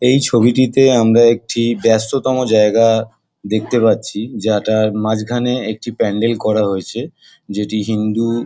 এই ছবিটিতে আমরা একটি ব্যস্ততম জায়গা দেখতে পাচ্ছি। যা-টা এর মাঝখানে একটি প্যান্ডেল করা হয়েছে। যেটি হিন্দু --